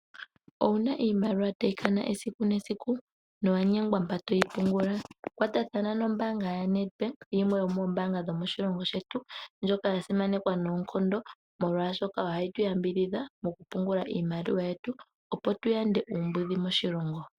Owuna iimaliwa tayi kana esiku nesiku , nowanyengwa mpa toyi pungula? Kwatathana nombaanga yaNedbank yimwee yomoombanga dhomoshilongo shetu ndjoka ya simanekwa noonkondo molwashoka ohayi tu yambidhidha mokupungula iimaliwa yetu opo tu yande uumbudhi moshilongo.